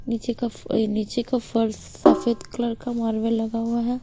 नीचे का नीचे का फर्स सफेद कलर का मार्बल लगा हुआ है।